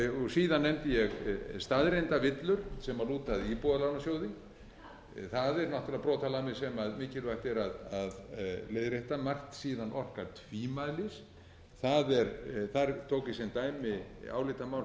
síðan nefndi ég staðreyndavillur sem lúta að íbúðalánasjóði það eru náttúrlega brotalamir sem mikilvægt er að leiðrétta margt síðan orkar tvímælis þar tók ég sem dæmi álitamál sem